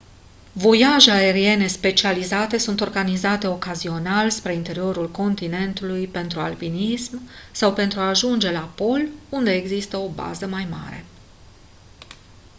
voiaje aeriene specializate sunt organizate ocazional spre interiorul continentului pentru alpinism sau pentru a ajunge la pol unde există o bază mare